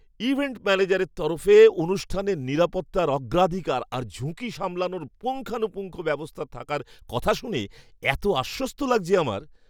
Event ম্যানেজারের তরফে অনুষ্ঠানের নিরাপত্তার অগ্রাধিকার আর ঝুঁকি সামলানোর পুঙ্খানুপুঙ্খ ব্যবস্থা থাকার কথা শুনে এত আশ্বস্ত লাগছে আমার!